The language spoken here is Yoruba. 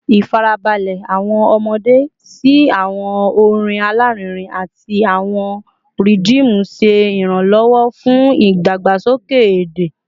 Ifarabalẹ awọn ọmọde si awọn orin alarinrin ati awọn rhythm ṣe iranlọwọ fun idagbasoke ede